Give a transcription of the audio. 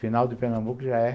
Final de Pernambuco já é...